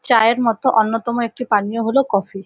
চায়ের মতো অন্যতম একটি পানীয় হলো কফি ।